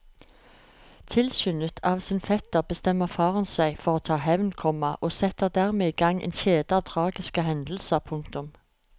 Tilskyndet av sin fetter bestemmer faren seg for å ta hevn, komma og setter dermed i gang en kjede av tragiske hendelser. punktum